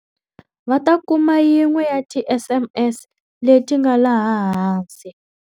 Va ta kuma yin'we ya tiSMS leti nga laha hansi.